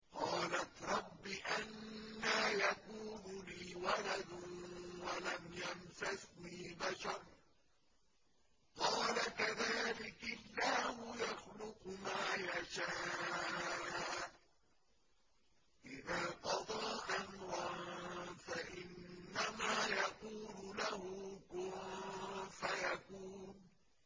قَالَتْ رَبِّ أَنَّىٰ يَكُونُ لِي وَلَدٌ وَلَمْ يَمْسَسْنِي بَشَرٌ ۖ قَالَ كَذَٰلِكِ اللَّهُ يَخْلُقُ مَا يَشَاءُ ۚ إِذَا قَضَىٰ أَمْرًا فَإِنَّمَا يَقُولُ لَهُ كُن فَيَكُونُ